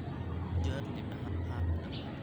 u jawaab juma iimayl ahan haa waan awooda